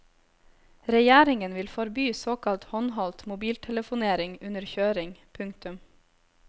Regjeringen vil forby såkalt håndholdt mobiltelefonering under kjøring. punktum